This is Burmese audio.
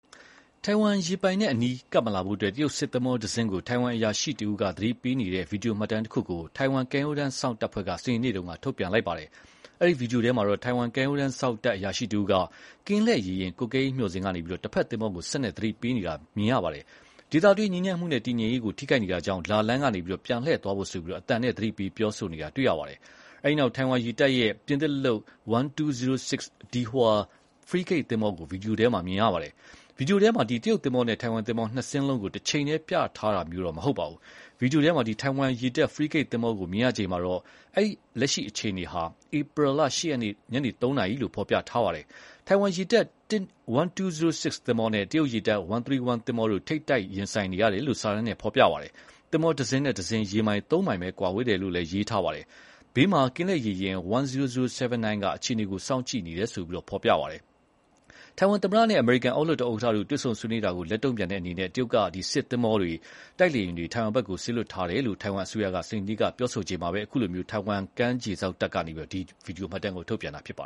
ထိုင်ဝမ်ရေပိုင်နက်နားကပ်မလာဖို့ တရုတ်စစ်သင်္ဘောတစင်းကို ထိုင်ဝမ်အရာရှိတဦးက သတိပေးနေတဲ့ ဗီဒီယိုမှတ်တမ်းတခုကို ထိုင်ဝမ်ကမ်းရိုးတန်းစောင့်တပ်ဖွဲ့က စနေနေ့က ထုတ်ပြန်လိုက်ပါတယ်။ အဲဒီဗွီဒီယိုထဲမှာတော့ ထိုင်ဝမ်ကမ်းရိုးတမ်းစောင့်တပ်အရာရှိတဦးက ကင်းလှည့်ရေယာဉ် ကွပ်ကဲရေးမျှော်စင်ကနေ တဘက်သင်္ဘောကို စက်နဲ့သတိပေးနေတာမြင်ရပါတယ်။ ဒေသတွင်းငြိမ်းချမ်းမှုနဲ့တည်ငြိမ်ရေးကို ထိခိုက်နေတာကြောင့် လာလမ်းကနေ ပြန်လှည့်သွားဖို့ဆိုပြီး အသံနဲ့သတိပေး ပြောဆိုနေတာတွေ့ရပါတယ်။ အဲဒီနောက် ထိုင်ဝမ်ရေတပ်ရဲ့ပြင်သစ်လုပ် 1206 Dihua ဖရီးဂိတ်သင်္ဘောကို ဗီဒီယိုထဲ မြင်ရပါတယ်။ ဗီဒီယိုထဲမှာ တရုတ်သင်္ဘောနဲ့ ထိုင်ဝမ်သင်္ဘော နှစ်စင်းလုံးကို တချိန်တည်း ပြထားတာမျိုးတော့မဟုတ်ပါဘူး။ ဗီဒီယိုထဲ ထိုင်ဝမ်ရေတပ် ဖရီးဂိတ်သင်္ဘောကို မြင်ရချိန်မှာတော့ လက်ရှိအချိန်ဟာ ဧပြီ ၈ ရက်နေ ညနေ ၃ နာရီလို့ ဖော်ပြထားပါတယ်။ ထိုင်ဝမ်ရေတပ် 1206 သင်္ဘောနဲ့ တရုတ်ရေတပ် 131 သင်္ဘောတို့ ထိပ်တိုက်ဆိုင်နေတယ်လို့ စာတမ်းနဲ့ဖော်ပြပါတယ်။ သင်္ဘောတစင်းနဲ့တစင်း ရေမိုင် ၃ မိုင်ပဲ ကွာဝေးတယ်လို့လည်း ရေးထားပါတယ်။ ဘေးမှာ ကင်းလှည်ရေယာဉ် 10079 က အခြေအနေကို စောင့်ကြည့်နေတယ်လို့လည်း ဖော်ပြပါတယ်။ ထိုင်ဝမ်သမ္မတနဲ့ အမေရိကန်အောက်လွှတ်တော်ဥက္ကဋ္ဌတို့ တွေ့ဆုံဆွေးနွေးတာကို လက်တုံ့ပြန်တဲ့အနေနဲ့ တရုတ်က စစ်သင်္ဘောတွေ၊ တိုက်လေယာဉ်တွေကို ထိုင်ဝမ်ဘက် စေလွှတ်ထားတယ်လို့ ထိုင်ဝမ်အစိုးရက စနေနေ့က ပြောလိုက်ချိန်မှာပဲ အခုလို ထိုင်ဝမ်ကမ်းခြေစောင့်တပ်ဖွဲ့ကလည်း ဒီ ဗွီဒီယိုမှတ်တမ်း ထုတ်ပြန်လာတာပါ